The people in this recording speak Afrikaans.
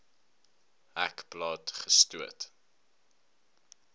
hek plat gestoot